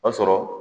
O y'a sɔrɔ